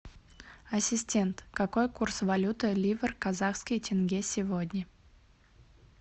ассистент какой курс валюты ливр казахский тенге сегодня